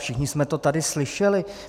Všichni jsme to tady slyšeli.